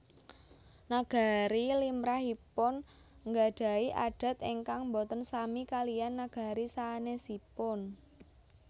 Nagari limrahipun nggadhahi adat ingkang boten sami kaliyan nagari sanèsipun